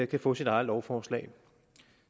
kan få sit eget lovforslag